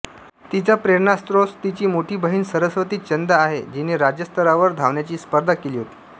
तिचा प्रेरणास्रोत तिची मोठी बहीण सरस्वती चंद आहे जिने राज्य स्तरावर धावण्याची स्पर्धा केली होती